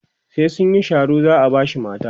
sai sunyi Sharo za'a bashi mata